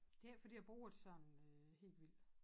Det ikke fordi jeg bruger det sådan helt vild